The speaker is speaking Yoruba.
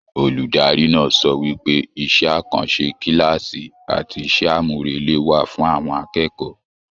Olùdarí náà sọ wípé iṣẹ àkànṣe kilaasi àti iṣẹ amurele wà fún àwọn akẹ́kọ̀ọ́.